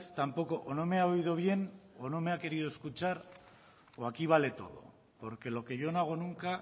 tampoco o no me ha oído bien o no me ha querido escuchar o aquí vale todo porque lo que yo no hago nunca